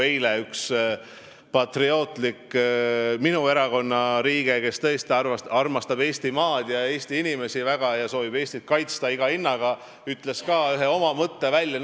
Eile üks minu erakonna patriootlik liige, kes tõesti armastab Eestimaad ja Eesti inimesi väga ning soovib Eestit kaitsta iga hinnaga, ütles ka ühe oma mõtte välja.